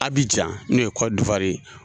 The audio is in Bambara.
Abijan n'o ye ye